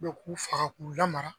k'u faga k'u lamara